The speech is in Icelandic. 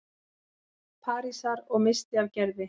Parísar- og missti af Gerði.